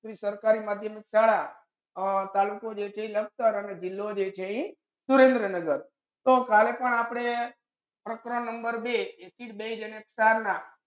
શ્રી સરકારી માધ્યમિક શાળા અ તાલુકો જે છે ઇ લખતર અને જીલો જે છે ઇ સુરેન્દ્રનગર તો કાલે પણ આપડે પ્રકરણ બે acid base અને ક્ષાર ના